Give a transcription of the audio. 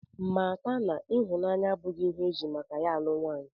Mata na ịhụnanya abụchaghị ihe e ji maka ya alụ nwaanyị